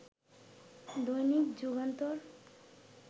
Dainik Jugantor